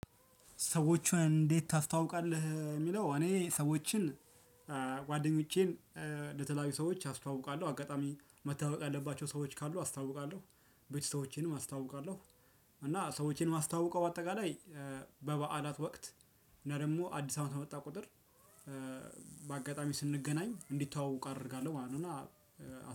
ሰዎችን? እንዴት ታስታውቃለህ የሚለው እኔ ሰዎችን ጓደኞቼን ለተለያዩ ሰዎች አስተዋውቃለሁ አጋጣሚ መተዋወቅ ያለባቸው ሰዎች ካሉ አስተዋውቃለሁ። ቤት ሰዎቼንም አስተዋውቃለሁ። እና ሰዎችን የማስታውቀው አጠቃላይ በበዓላት ወቅት እና ደግሞ አዲስ አመት በመጣ ቁጥር። ስንገናኝ እንዲተዋወቁ አደርጋለሁ ማለት ነው። እና